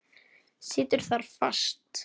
Situr þar fast.